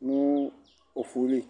bũ dù udu